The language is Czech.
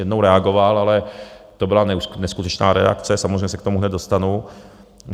Jednou reagoval, ale to byla neskutečná reakce, samozřejmě se k tomu hned dostanu.